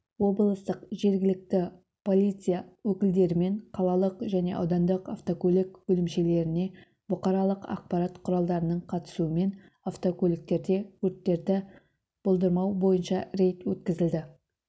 облыстық жергілікті полиция өкілдерімен қалалық және аудандық автокөлік бөлімшелеріне бұқаралық ақпарат құралдарының қатысуымен автокөліктерде өрттерді болдырмау бойынша рейд өткізілді